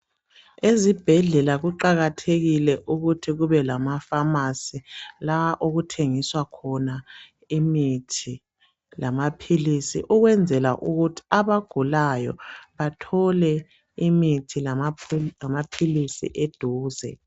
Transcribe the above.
Ezibhedlela kuqakathekile ukuthi kube lamafamasi la okuthengiswa khona imithi lamaphilisi ukwenzela ukuthi abagulayo bathole imithi lamaphilisi edhuze.